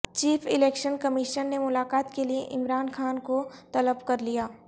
chief election commission نے ملاقات کے لیے عمران خان کو طلب کرلیا